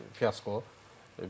Yəni fiaskodur,